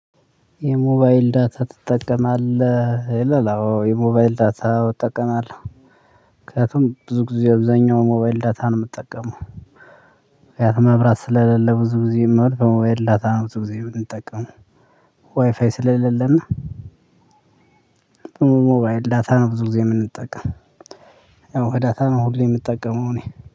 የሞባይል ዳታ ትጠቀማለህ? አወ የሞባይል ዳታ እጠቀማለሁ። ምክንያቱም ብዙ ጊዜ አብዛኛው ሞባይል ዳታ ነው የምጠቀመው ምክንያቱም መብራት ስለሌለ ብዙ ጊዜ በሞባይል ዳታ ነው ብዙ ጊዜ የምንጠቀመው። ዋይፋይ ስለሌለና በሞባይል ዳታ ነው ብዙ ጊዜ የምንጠቀመው። ያው ዳታ ነው ሁሌም የምጠቀመው እኔ